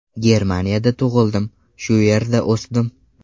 Germaniyada tug‘ildim, shu yerda o‘sdim.